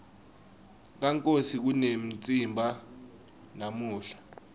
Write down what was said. kankosi kunemtsimba namuhla